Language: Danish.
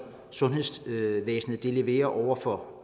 sundhedsvæsenet leverer over for